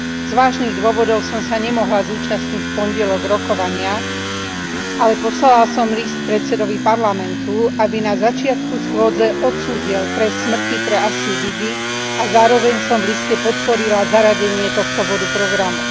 Z vážnych dôvodov som sa nemohla zúčastniť v pondelok rokovania, ale poslala som list predsedovi Parlamentu, aby na začiatku schôdze odsúdil trest smrti pre Asiu Bibi a zároveň som v liste podporila zaradenie tohto bodu programu.